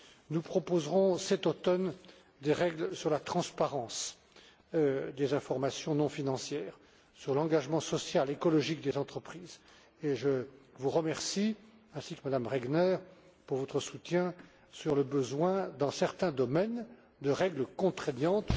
Nous proposerons cet automne des règles sur la transparence des informations non financières, tout comme sur l'engagement social et écologique des entreprises, et je vous remercie, ainsi que Mme Regner, pour votre soutien quant à la nécessité, dans certains domaines, de règles contraignantes.